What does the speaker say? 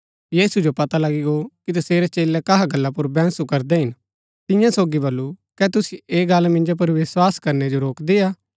यीशु जो पता लगी गो कि तसेरै चेलै कहा गल्ला पुर बैंहसु करदै हिन तियां सोगी बल्लू कै तुसिओ ऐह गल्ल मिन्जो पुर विस्वास करनै जो रोकदी हा